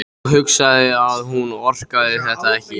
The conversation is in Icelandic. Og hugsaði að hún orkaði þetta ekki.